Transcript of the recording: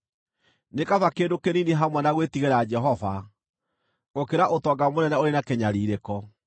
Nĩ kaba kĩndũ kĩnini hamwe na gwĩtigĩra Jehova, gũkĩra ũtonga mũnene ũrĩ na kĩnyariirĩko.